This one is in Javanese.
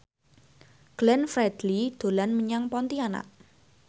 Glenn Fredly dolan menyang Pontianak